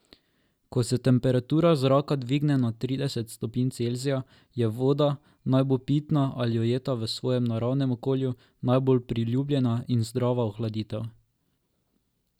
Ko se temperatura zraka dvigne nad trideset stopinj Celzija, je voda, naj bo pitna ali ujeta v svojem naravnem okolju, najbolj priljubljena in zdrava ohladitev.